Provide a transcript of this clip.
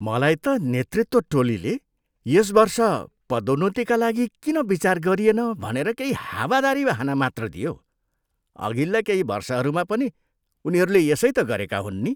मलाई त नेतृत्व टोलीले यस वर्ष पदोन्नतिका लागि किन विचार गरिएन भनेर केही हावादारी बहाना मात्र दियो। अघिल्ला केही वर्षहरूमा पनि उनीहरूले यसै त गरेका हुन् नि!